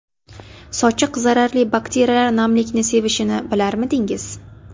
Sochiq Zararli bakteriyalar namlikni sevishini bilarmidingiz?